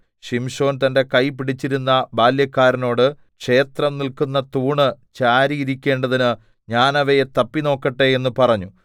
ശിംശോൻ തന്റെ കൈ പിടിച്ചിരുന്ന ബാല്യക്കാരനോട് ക്ഷേത്രം നില്ക്കുന്ന തൂണ് ചാരിയിരിക്കേണ്ടതിന് ഞാൻ അവയെ തപ്പിനോക്കട്ടെ എന്ന് പറഞ്ഞു